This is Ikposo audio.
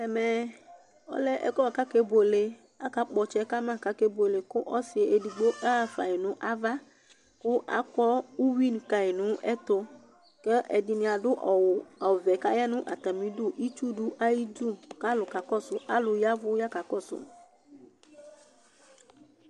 ɛmɛ ɔlɛ ɛƒʋɛ bʋakʋ akɛ bʋɛlɛ, aka kpɔ ɔtsɛ kama kʋ akɛ bʋɛlɛ kʋ ɔsii ɛdigbɔ ahaƒai nʋ aɣa kʋ akɔ ʋwi dʋkai nʋ ɛtʋ kʋ ɛdini adʋ awʋ ɔvɛ kʋ ayanʋ atami idʋ, itsʋ dʋayidʋ kʋ alʋ kakɔsʋ alʋ yavʋ kakɔsʋ